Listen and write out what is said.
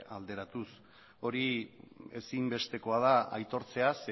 alderatuz hori ezinbestekoa da aitortzea